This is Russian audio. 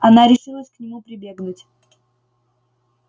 она решилась к нему прибегнуть